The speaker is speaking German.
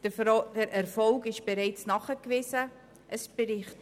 Der Erfolg ist bereits nachgewiesen worden.